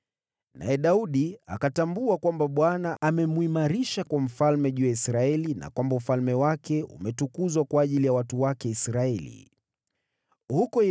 Naye Daudi akatambua kwamba Bwana amemwimarisha kuwa mfalme juu ya Israeli na kwamba ufalme wake umetukuzwa kwa ajili ya Israeli, watu wake.